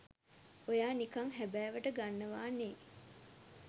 ඔයා නිකං හැබෑවට ගන්නවා නේ.